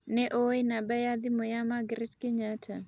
nĩ ũĩ namba ya thimũ ya Margaret Kenyatta